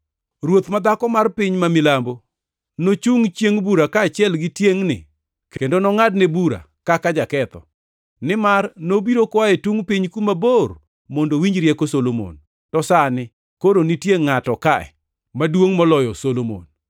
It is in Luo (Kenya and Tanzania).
Ruoth ma dhako mar piny ma milambo nochungʼ chiengʼ bura kaachiel gi tiengʼni kendo nongʼadne bura kaka jaketho, nimar nobiro koa e tungʼ piny kuma bor mondo owinj rieko Solomon, to sani koro nitie ngʼato ka maduongʼ moloyo Solomon.